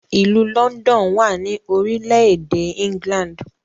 Ilú London wá ní orílẹ̀-èdè England.